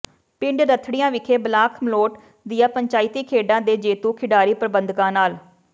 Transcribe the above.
ਪਿੰਡ ਰਥੜੀਆਂ ਵਿਖੇ ਬਲਾਕ ਮਲੋਟ ਦੀਆਂ ਪੰਚਾਇਤੀ ਖੇਡਾਂ ਦੇ ਜੇਤੂ ਖਿਡਾਰੀ ਪ੍ਰਬੰਧਕਾਂ ਨਾਲ